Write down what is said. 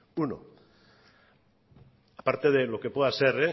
uno aparte de lo que pueda ser